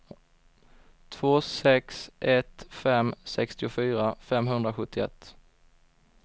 två sex ett fem sextiofyra femhundrasjuttioett